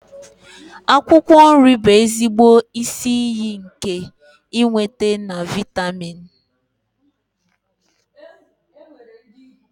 Akwụkwọ nri bụ ezigbo isi iyi nke ịnweta na vịatamin.